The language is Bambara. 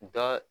Da